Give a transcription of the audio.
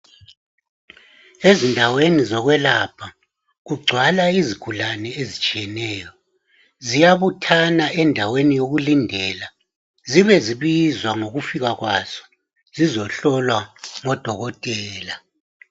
Ezindaweni zokwelapha kugcwala izigulane ezitshiyeneyo. Ziyabuthana endaweni yokulindela, zibe zibizwa ngokufika kwazo, zizohlolwa ngodokotela.